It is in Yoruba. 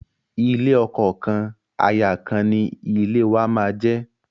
Ilé ọkọ kan, aya kan ni ilé wàá máa jẹ́.